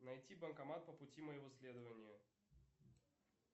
найти банкомат по пути моего следования